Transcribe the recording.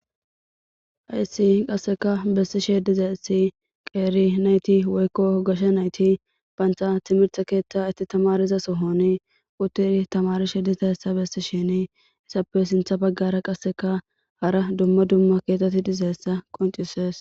Hayssi qasseka bessi shediza issi qeeri nayti woykko hogasha nayti baantha timirta keeththa itti tamariza sohoni utiri tamarishe diza essa bessi shini isappe sintha baggara qasseka hara dumma dumma keetetti dizayssa qoncisees.